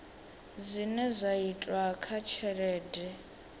zwine zwa itwa kha tshelede